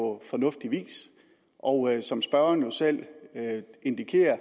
på fornuftig vis og som spørgeren jo selv indikerer